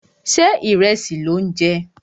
Ṣé ìrẹsì lò ń jẹ?